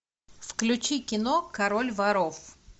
включи кино король воров